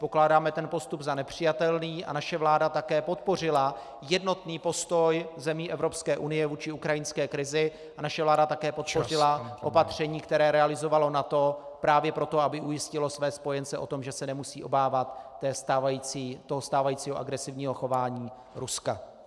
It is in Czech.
Pokládáme ten postup za nepřijatelný a naše vláda také podpořila jednotný postoj zemí Evropské unie vůči ukrajinské krizi a naše vláda také podpořila opatření, které realizovalo NATO právě proto, aby ujistilo své spojence o tom, že se nemusí obávat toho stávajícího agresivního chování Ruska.